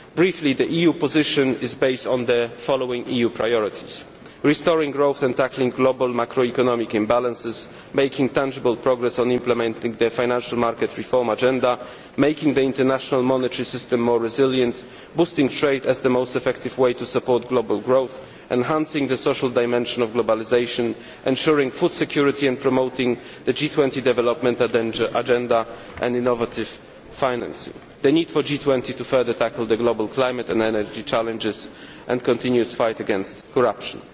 Briefly the EU position is based on the following EU priorities restoring growth and tackling global macroeconomic imbalances, making tangible progress on implementing the financial market reform agenda, making the international monetary system more resilient, boosting trade as the most effective way to support global growth, enhancing the social dimension of globalisation, ensuring food security and promoting the G20 development agenda and innovative financing, the need for the G20 to further tackle the global climate and energy challenges and continue the fight against corruption.